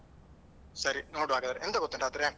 ಸರಿ ನೋಡ್ವಾ ಹಾಗಾದ್ರೆ. ಎಂತ ಗೊತ್ತುಂಟಾ ಆದ್ರೆ.